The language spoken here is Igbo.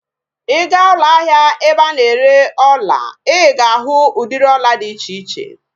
Ị gaa ụlọ ahịa ebe a na-ere ọla, ị ga-ahụ udịri ọla dị iche iche